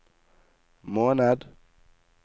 måned